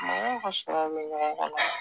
Mɔgɔw ka sɔrɔw bɛ ɲɔgɔn kɔnɔ